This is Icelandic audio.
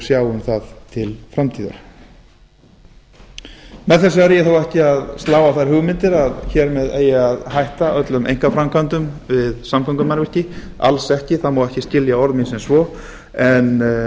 um það til framtíðar með þessu er ég þó ekki að slá á þær hugmyndir að hér með eigi að hætta öllum einkaframkvæmdum við samgöngumannvirki alls ekki það má ekki skilja orð mín sem svo en hugmyndir